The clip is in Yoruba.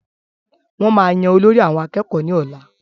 Wọ́n máa yan olórí àwọn akẹ́kọ̀ọ́ ní ọ̀la